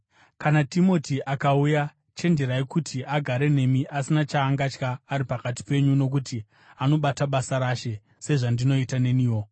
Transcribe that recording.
Kana Timoti akauya, chenjerai kuti agare nemi asina chaangatya ari pakati penyu nokuti anobata basa raShe, sezvandinoita neniwo.